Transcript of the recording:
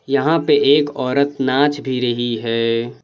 यहां पे एक औरत नाच भी रही है।